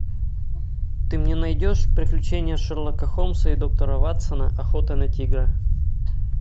ты мне найдешь приключения шерлока холмса и доктора ватсона охота на тигра